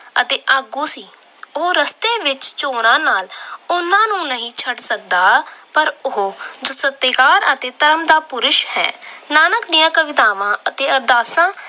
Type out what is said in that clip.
ਅਤੇ ਆਗੂ ਸੀ। ਉਹ ਰਸਤੇ ਵਿੱਚ ਨਾਲ ਉਹਨਾਂ ਨੂੰ ਨਹੀਂ ਛੱਡ ਸਕਦਾ ਪਰ ਉਹ ਸਤਿਕਾਰ ਅਤੇ ਧਰਮ ਦਾ ਪੁਰਸ਼ ਹੈ। ਨਾਨਕ ਦੀਆਂ ਕਵਿਤਾਵਾਂ ਅਤੇ ਅਰਦਾਸਾਂ